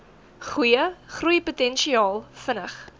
goeie groeipotensiaal vinnig